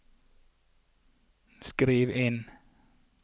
skriv inn